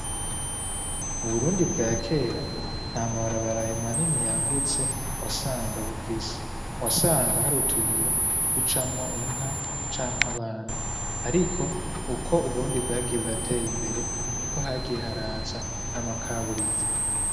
Uburundi bwa kera namabara abaraye manini yagutse wasanga bufise wasanga harutwira ducamwo inka canke abana, ariko ukwo uburundi bwagiye buratera imbere ni ko hagiye haraza n'amakaburimbo.